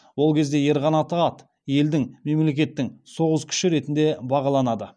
ол кезде ер қанаты ат елдің мемлекеттік соғыс күші ретіне бағаланады